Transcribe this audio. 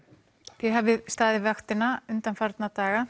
takk þið hafið staðið vaktina undanfarna daga